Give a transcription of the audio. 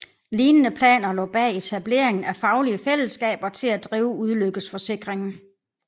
Lignende planer lå bag etableringen af faglige fællesskaber til at drive ulykkesforsikringen